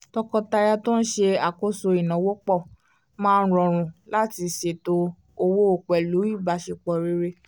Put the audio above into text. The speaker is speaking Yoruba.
tọkọtaya tó n ṣe àkóso ináwó pọ̀ máa ń rọrùn láti ṣètò owó pẹ̀lú ìbáṣepọ̀ rere